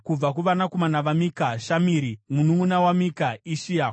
Mununʼuna waMika: Ishia; kubva kuvanakomana vaIshia: Zekaria.